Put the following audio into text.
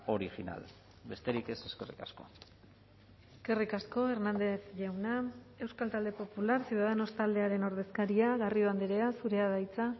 original besterik ez eskerrik asko eskerrik asko hernández jauna euskal talde popular ciudadanos taldearen ordezkaria garrido andrea zurea da hitza